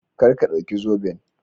Kar ka dauki zoben.